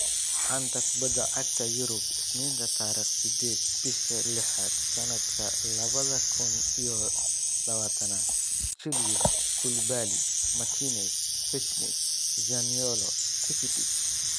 Xanta Kubadda Cagta Yurub Isniinta tariq sedeed, bisha lixaad, sanadka labada kun iyo labatanad: Chilwell, Koulibaly, Martinez, Pjanic, Zaniolo, Rakitic